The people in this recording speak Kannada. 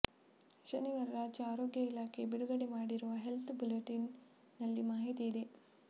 ಶನಿವಾರ ರಾಜ್ಯ ಆರೋಗ್ಯ ಇಲಾಖೆ ಬಿಡುಗಡೆ ಮಾಡಿರುವ ಹೆಲ್ತ್ ಬುಲೆಟಿನ್ ನಲ್ಲಿ ಮಾಹಿತಿ ಇದೆ